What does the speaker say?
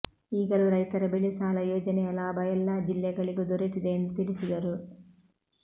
ಈಗಲೂ ರೈತರ ಬೆಳೆ ಸಾಲ ಯೋಜನೆಯ ಲಾಭ ಎಲ್ಲಾ ಜಿಲ್ಲೆ ಗಳಿಗೂ ದೊರೆತಿದೆ ಎಂದು ತಿಳಿಸಿದರು